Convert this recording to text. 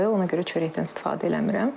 Ona görə çörəkdən istifadə eləmirəm.